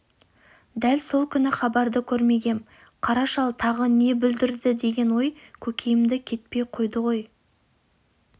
дәл сол күні хабарды көрмегем қара шал тағы не бүлдірді деген ой көкейімнен кетпей қойды бір